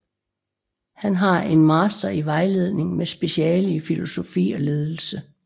Han har en master i vejledning med speciale i filosofi og ledelse